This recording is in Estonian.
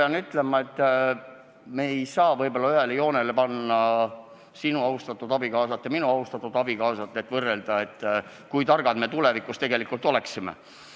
Ma pean ütlema, et me ei saa võib-olla ühele joonele panna sinu austatud abikaasat ja minu austatud abikaasat, et võrrelda, et kui targad me tulevikus tegelikult oleksime.